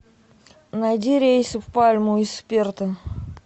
найди рейсы в пальму из перта